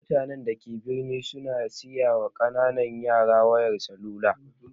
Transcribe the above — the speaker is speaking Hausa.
Mutanen da ke birni su na siyawa ƙananan yara wayar salula